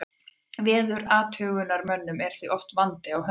Veðurathugunarmönnum er því oft vandi á höndum.